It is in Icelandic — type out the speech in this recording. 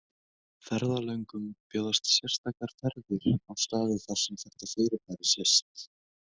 Ferðalöngum bjóðast sérstakar ferðir á staði þar sem þetta fyrirbæri sést.